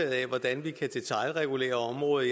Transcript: af hvordan vi kan detailregulere området